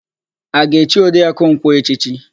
A ga-echi Oriakụ Nkwọ echichi?